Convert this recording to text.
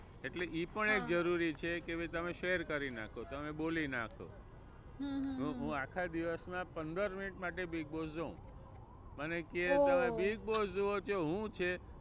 એટલે એ પણ એક જરૂરી છે કે ભાઈ તમે share કરી નાખો, તમે બોલી નાખો. હું હું આખા દિવસ માં પંદર મિનિટ માટે બિગબોસ જોઉં. મને કે તમે બિગબોસ જોવો છો શું છે.